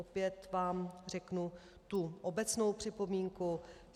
Opět vám řeknu tu obecnou připomínku.